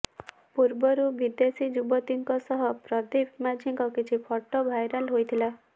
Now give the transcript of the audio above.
ପୂର୍ବରୁ ବିଦେଶୀ ଯୁବତୀଙ୍କ ସହ ପ୍ରଦୀପ ମାଝୀଙ୍କ କିଛି ଫଟୋ ଭାଇରାଲ ହୋଇଥିଲା